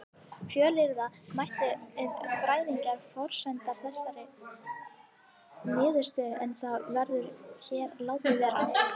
Fjölyrða mætti um fræðilegar forsendur þessarar niðurstöðu en það verður hér látið vera.